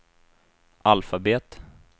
alfabet